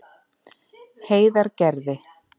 Heiðargerði